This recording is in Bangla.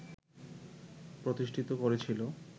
প্রতিষ্ঠিত করেছিল